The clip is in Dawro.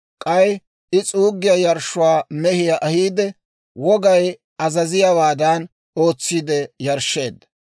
K'ay I s'uuggiyaa yarshshuwaa mehiyaa ahiide, wogay azaziyaawaadan ootsiide yarshsheedda.